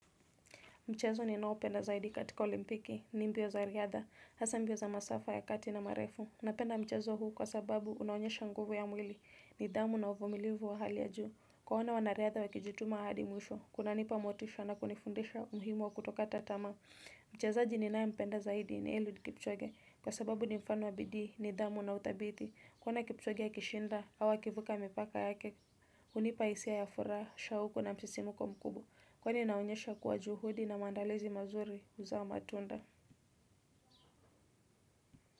Mchezo ninaopenda zaidi katika olimpiki, ni mbio za riadha, hasa mbio za masafa ya kati na marefu. Napenda mchezo huu kwa sababu unaonyesha nguvu ya mwili, nidhamu na uvumilivu wa hali ya juu. Kuwaona wanariadha wakijutuma hadi mwisho, kunanipa motisha na kunifundisha umuhimu wa kutokata tamaa. Mchezaji ninaye mpenda zaidi ni eluid kipchoge, kwa sababu ni mfano wa bidii, nidhamu na uthabiti. Kuona kipchoge akishinda, au akivuka mipaka yake, hunipa isia ya furaha, shahuku na msisimuko mkubwa. Kweli inaonyesha kuwa juhudi na maandalizi mazuri huzaa matunda.